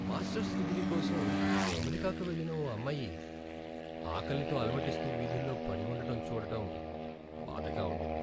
Masters degree కోసం అమెరికాకు వెళ్లిన ఓ అమ్మాయి ఆకలితో అలమటిస్తూ వీధుల్లో పడి ఉండడం చూడడం బాధగా ఉండింది.